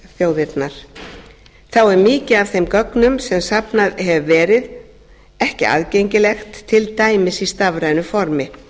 þá er mikið af þeim gögnum sem safnað hefur verið ekki aðgengilegt til dæmis í stafrænu formi